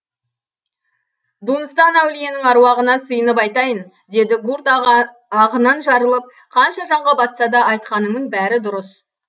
дунстан әулиенің аруағына сыйынып айтайын деді гурт ағынан жарылып қанша жанға батса да айтқаныңның бәрі дұрыс